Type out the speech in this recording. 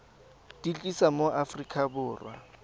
di tlisa mo aforika borwa